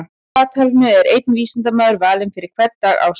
Á dagatalinu er einn vísindamaður valinn fyrir hvern dag ársins.